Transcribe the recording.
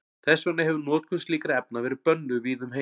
Þess vegna hefir notkun slíkra efna verið bönnuð víða um heim.